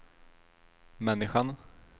människan